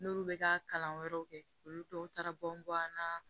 N'olu bɛ ka kalan wɛrɛw kɛ olu tɔw taara bɔn an na